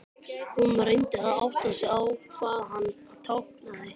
Hún reyndi að átta sig á því hvað hann táknaði.